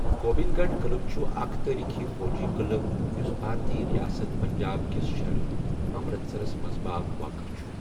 گوبند گڑھ قلعہ چھٗ اكھ تاریخی فوجی قلعہ یٗس بھارتی ریاست پنجاب کِس شہر امرتسرس منز باگ واقع چھَٗ ۔